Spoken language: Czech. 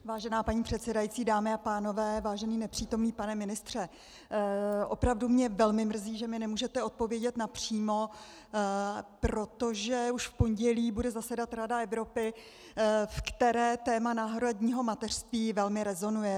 Vážená paní předsedající, dámy a pánové, vážený nepřítomný pane ministře, opravdu mě velmi mrzí, že mi nemůžete odpovědět napřímo, protože už v pondělí bude zasedat Rada Evropy, v které téma náhradního mateřství velmi rezonuje.